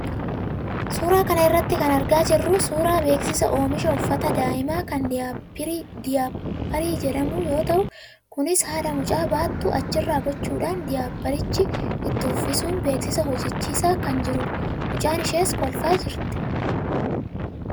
Suuraa kana irraa kan argaa jirru suuraa beeksisa oomisha uffata daa'imaa kan daayipparii jedhamuu yoo ta'u, kunis haadha mucaa baattu achirra gochuudhaan daayipparicha itti uffisuun beeksisa hojjachiisaa kan jiranidha. Mucaan ishees kolfaa jirti.